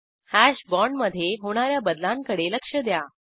hash बाँडमधे होणा या बदलांकडे लक्ष द्या